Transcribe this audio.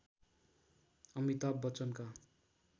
Amitabh बच्चनका